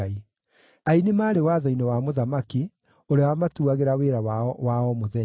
Aini maarĩ watho-inĩ wa mũthamaki, ũrĩa wamatuagĩra wĩra wao wa o mũthenya.